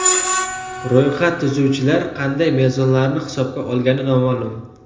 Ro‘yxat tuzuvchilar qanday mezonlarni hisobga olgani noma’lum.